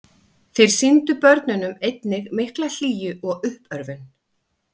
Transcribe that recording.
þeir sýndu börnunum einnig mikla hlýju og uppörvun